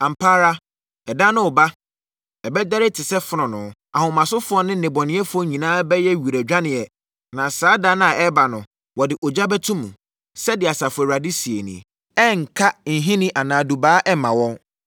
“Ampa ara, ɛda no reba; ɛbɛdɛre te sɛ fononoo. Ahomasofoɔ ne nnebɔneyɛfoɔ nyinaa bɛyɛ wiradwaneɛ, na saa da a ɛreba no, wɔde ogya bɛto mu,” sɛdeɛ Asafo Awurade seɛ nie. “Ɛrenka nhini anaa dubaa ɛmma wɔn.